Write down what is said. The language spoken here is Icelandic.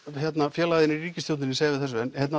félagar þínir í ríkisstjórninni segja við þessu